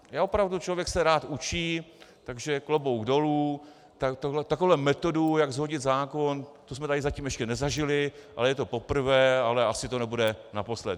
A opravdu, člověk se rád učí, takže klobouk dolů, takovou metodu, jak shodit zákon, to jsme tady zatím ještě nezažili, ale je to poprvé, ale asi to nebude naposled.